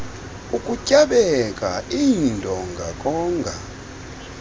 ukutyabeka iindonga konga